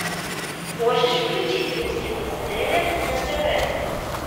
можешь включить русский бестселлер на тв